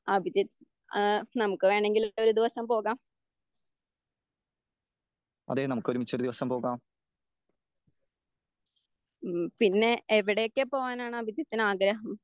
അഭിജിത്ത് ഏഹ് നമുക്ക് വേണങ്കിൽ ഒരു ദിവസം പോകാം. ഹമ് പിന്നെ എവിടേക്ക് പോകാനാണ് അഭിജിത്തിന് ആഗ്രഹം